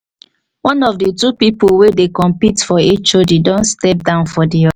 one of the two people wey dey compete for hod don step down for the o